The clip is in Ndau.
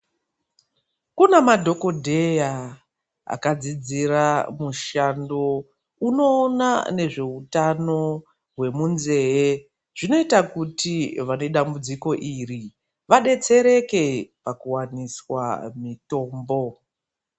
Kune madhokodheya akadzidzira mushando unoona ngezveutano wemunzeve zvinoita kuti vane dambudziko iri vabetsereke pakuwaniswa mutombo .